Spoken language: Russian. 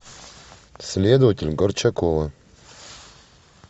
следователь горчакова